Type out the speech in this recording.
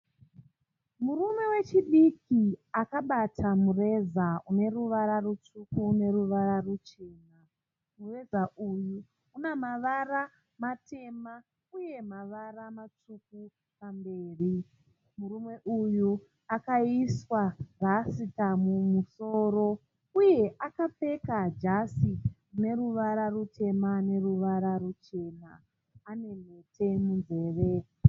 Murume wechidiki akabata mureza uneruvara rutsvuku neruvara ruchena. Mureza uyu une mavara matema uye mavara matsvuku pamberi. Murume uyu akaiswa rasita mumusoro uye akapfeka jasi rine ruvara rutema neruvara ruchena. Ane mhete munzeve.